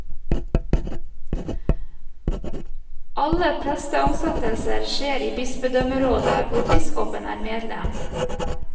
Alle presteansettelser skjer i bispedømmerådet, hvor biskopen er medlem.